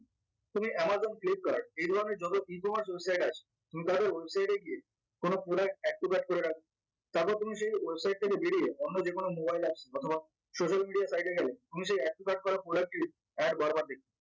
তুমি Amazon flipkart এইধরণের যত website আছে গিয়ে কোনো product activate করে রাখবো তারপর তোমার সেই website থেকে বেরিয়ে অন্য যেকোনো mobile apps অথবা social media site এ গেলে তখন সেই activert করা product ই ad বার বার দেখবে